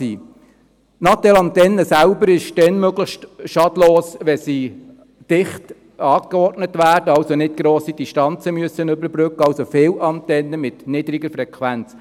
Die Natel-Antennen selber sind dann möglichst schadlos, wenn sie dicht angeordnet werden, also nicht grosse Distanzen überbrücken müssen: also viele Antennen mit niedriger Frequenz.